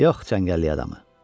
Yox, cəngəllik adamı.